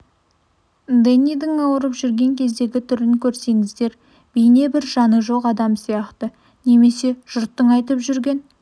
дэннидің ауырып жүрген кездегі түрін көрсеңіздер бейне бір жаны жоқ адам сияқты немесе жұрттың айтып жүрген